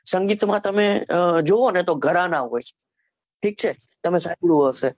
સંગીત માં તમે જોવોને ઘણા ના હોય ઠીક છે તમે સાચ્વ્યું હશે